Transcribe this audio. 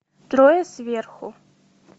трое сверху